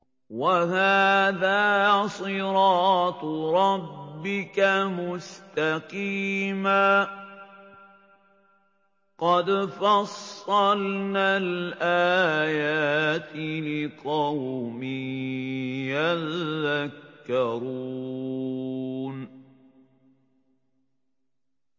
وَهَٰذَا صِرَاطُ رَبِّكَ مُسْتَقِيمًا ۗ قَدْ فَصَّلْنَا الْآيَاتِ لِقَوْمٍ يَذَّكَّرُونَ